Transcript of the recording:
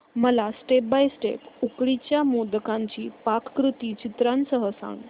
मला step by step उकडीच्या मोदकांची पाककृती चित्रांसह सांग